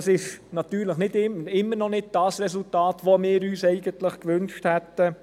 Das ist natürlich immer noch nicht das Resultat, das wir uns eigentlich gewünscht hätten.